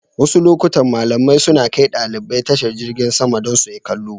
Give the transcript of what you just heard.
Wasu lokutan malamai suna kai ɗalibai tashar jingin sama don su yi kallo.